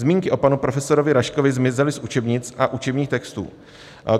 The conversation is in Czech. Zmínky o panu profesorovi Raškovi zmizely z učebnic a učebních textů.